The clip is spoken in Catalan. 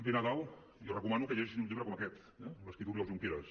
ve nadal i els recomano que llegeixin un llibre com aquest eh l’ha escrit oriol junqueras